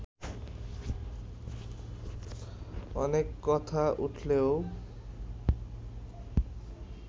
অনেক কথা উঠলেও